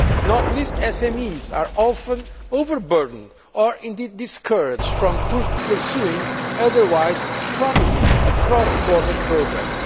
Not least, SMEs are often overburdened or indeed discouraged from pursuing otherwise promising cross border projects.